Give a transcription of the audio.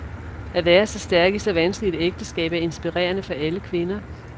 At være så stærk i så vanskeligt et ægteskab er inspirerende for alle kvinder.